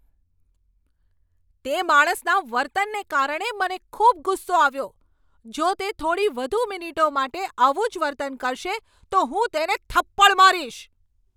તે માણસના વર્તનને કારણે મને ખૂબ ગુસ્સો આવ્યો. જો તે થોડી વધુ મિનિટો માટે આવું જ વર્તન કરશે તો હું તેને થપ્પડ મારીશ.